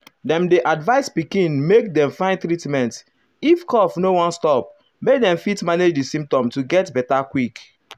dem dey advise pikin make dem find treatment if cough no wan stop make dem fit manage di symptoms to get beta quick.